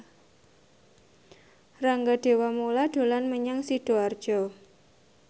Rangga Dewamoela dolan menyang Sidoarjo